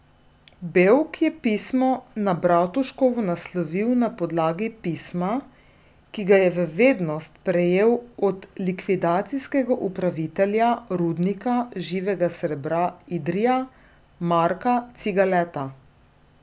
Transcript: Bevk je pismo na Bratuškovo naslovil na podlagi pisma, ki ga je v vednost prejel od likvidacijskega upravitelja Rudnika živega srebra Idrija Marka Cigaleta.